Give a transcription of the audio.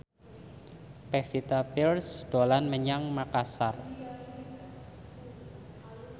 Pevita Pearce dolan menyang Makasar